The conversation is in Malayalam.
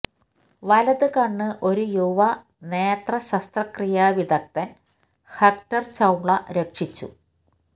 വലത് കണ്ണ് ഒരു യുവ നേത്ര ശസ്ത്രക്രിയാ വിദഗ്ധൻ ഹെക്ടർ ചൌള രക്ഷിച്ചു